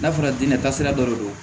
N'a fɔra diinɛ taasira dɔ de don